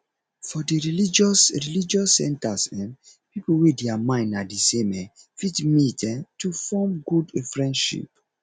for di religious religious centers um pipo wey their mind na di same um fit meet um to forn good friendship